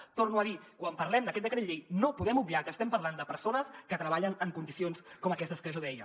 ho torno a dir quan parlem d’aquest decret llei no podem obviar que estem parlant de persones que treballen en condicions com aquestes que jo deia